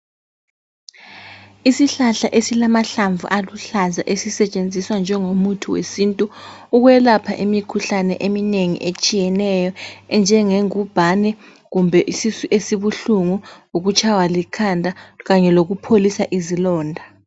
Isihlahla esilamahlamvu aluhlaza esisetshenziswa njengomuthi wesintu ukwelapha imikhuhlane eminengi etshiyeneyo enjenge ngubhane kumbe isisu esibuhlungu ukutshaywa likhanda kanye lokupholisa izilonda.